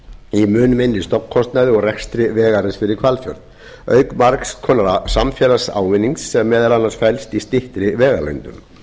í mun minni stofnkostnaði og rekstri vegarins fyrir hvalfjörð auk margs konar samfélagslegs ávinnings sem meðal annars felst í styttri vegalengdum